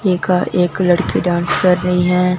एका एक लड़की डांस कर रही है।